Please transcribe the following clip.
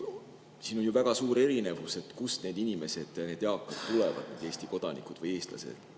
Siin on ju väga suur erinevus, kust need inimesed tulevad, Eesti kodanikud või eestlased.